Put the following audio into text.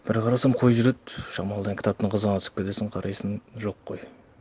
бір қарасам қой жүреді шамалыдан кітаптың қызығына түсіп кетесін қарайсын жоқ қой